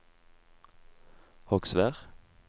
Hogsvær